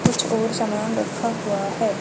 कुछ और समय लगभग हुआ है।